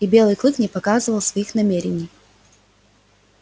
и белый клык не показывал своих намерений